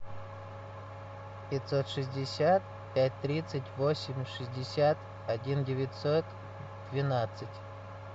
пятьсот шестьдесят пять тридцать восемь шестьдесят один девятьсот двенадцать